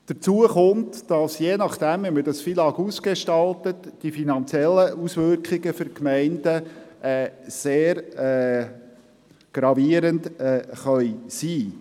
Dazu kommt, je nachdem wie man das FILAG ausgestaltet, dass die finanziellen Auswirkungen für die Gemeinden sehr gravierend sein können.